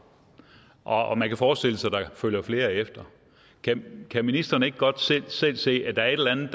og man kan forestille sig at der følger flere efter kan kan ministeren ikke godt selv se at der er et eller andet